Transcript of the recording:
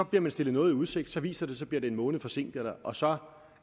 bliver stillet noget i udsigt så viser det sig bliver en måned forsinket og så